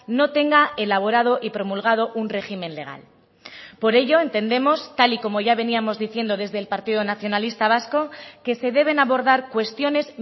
no tenga elaborado y promulgado un régimen legal por ello entendemos tal y como ya veníamos diciendo desde el partido nacionalista vasco que se deben abordar cuestiones